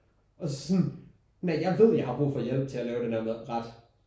Og så sådan når jeg ved jeg har brug for hjælp til at lave den der ret